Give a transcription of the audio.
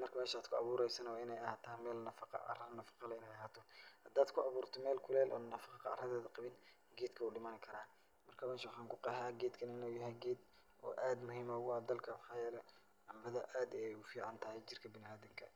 Marka meesha aad ku abuuraysana waa in ay a haataa meel nafaqa cara nafaqa leh in ay a haato. Hadaad ku abuurto meel kuleel oo nafaqa caradeeda qabin, geedka wuu dhimani karaa. Marka meesha waxaan ku qeehaa geedkan in uu yahay geed oo aad muhiim noogu ah dalka. Maxaa yeelay cambada aad ayaay ugu ficaantahay jirka bana'aadinka.